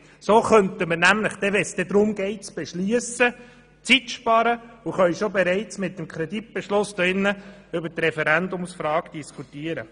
So könnte man nämlich Zeit sparen und die Referendumsfrage im Grossen Rat bereits mit dem Kreditbeschluss diskutieren.